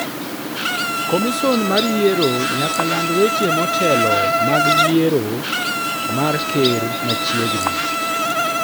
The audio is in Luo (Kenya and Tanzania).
"Komison mar yiero nyaka land weche motelo mag yiero mar ker machiegni.